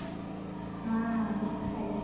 ହଁ ଖାଇଦେବି